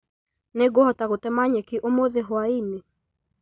Nĩ ngũhota gũtema nyeki ũmũthĩ hwaĩinĩ